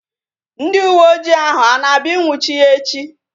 Ndị uwe ojii ahu a na-abịa ị nnwuchi ya echi?